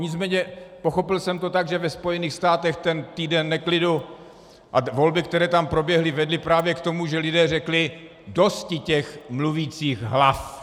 Nicméně pochopil jsem to tak, že ve Spojených státech ten týden neklidu a volby, které tam proběhly, vedly právě k tomu, že lidé řekli: Dosti těch mluvících hlav.